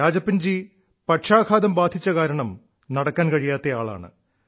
രാജപ്പൻജി പക്ഷാഘാതം ബാധിച്ച കാരണം നടക്കാൻ കഴിയാത്ത ആളാണ്